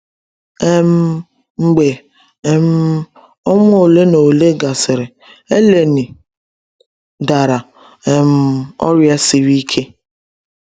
um Mgbe um ọnwa ole na ole gasịrị, Eleni dara um ọrịa siri ike.